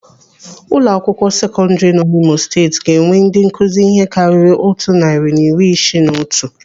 Ụlọakwụkwọ sekọndiri nọ n'Imo Steeti ga-ewe ndị nkụzi ihe karịrị otu narị na iri isii na otu.